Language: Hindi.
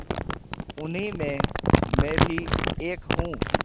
उन्हीं में मैं भी एक हूँ